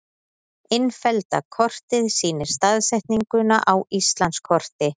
Innfellda kortið sýnir staðsetninguna á Íslandskorti.